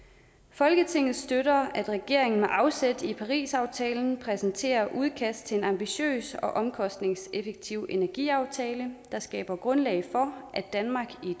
folketinget støtter at regeringen med afsæt i parisaftalen præsenterer et udkast til en ambitiøs og omkostningseffektiv energiaftale der skaber grundlag for at danmark i